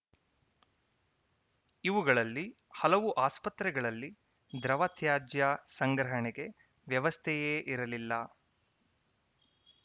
ಇವುಗಳಲ್ಲಿ ಹಲವು ಆಸ್ಪತ್ರೆಗಳಲ್ಲಿ ದ್ರವ ತ್ಯಾಜ್ಯ ಸಂಗ್ರಹಣೆಗೆ ವ್ಯವಸ್ಥೆಯೇ ಇರಲಿಲ್ಲ